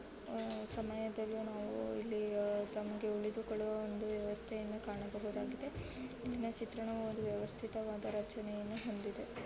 ಅಹ್ ಸಮಯದಲ್ಲಿ ನಾವು ಇಲ್ಲಿತಮ್ಮಗೆ ಉಳಿದುಕೊಳ್ಳಲು ಒಂದು ವ್ಯವಸ್ಥೆಯನ್ನು ಕಾಣಬಹುದಾಗಿದೆ ಈ ಚಿತ್ರಣವು ಒಂದು ವೈವಸ್ಥಿತ ರಚನೆಯನ್ನು ಹೊಂದಿದೆ